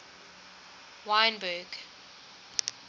wynberg